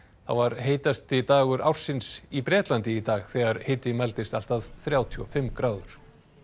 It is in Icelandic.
var heitasti dagur ársins í Bretlandi í dag þegar hiti mældist allt að þrjátíu og fimm gráður